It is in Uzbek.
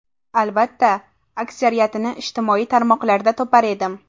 Albatta, aksariyatini ijtimoiy tarmoqlarda topar edim.